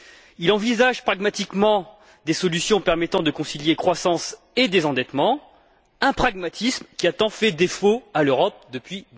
Il envisage pragmatiquement des solutions permettant de concilier croissance et désendettement, un pragmatisme qui a tant fait défaut à l'Europe depuis